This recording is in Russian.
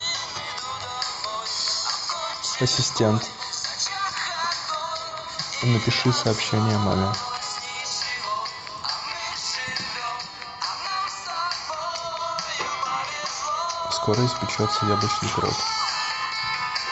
ассистент напиши сообщение маме скоро испечется яблочный пирог